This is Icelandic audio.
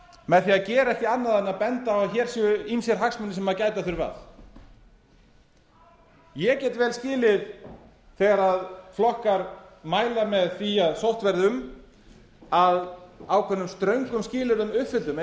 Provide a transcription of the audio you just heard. með því að gera ekki annað en benda á að hér séu ýmsir hagsmunir sem gæta þurfi að ég get vel skilið þegar flokkar mæla með því að sótt verði um að ákveðnum ströngum skilyrðum uppfylltum